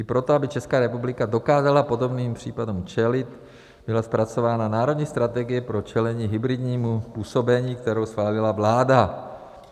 I proto, aby Česká republika dokázala podobným případům čelit, byla zpracována Národní strategie pro čelení hybridnímu působení, kterou schválila vláda.